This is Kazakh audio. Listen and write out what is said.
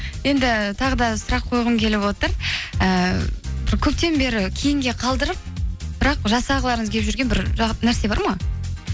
енді тағы да сұрақ қойғым келіп отыр ііі бір көптен бері кейінге қалдырып бірақ жасағыларыңыз келіп жүрген бір нәрсе бар ма